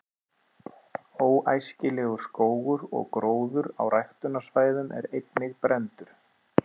„óæskilegur“ skógur og gróður á ræktunarsvæðum er einnig brenndur